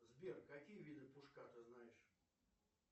сбер какие виды пушка ты знаешь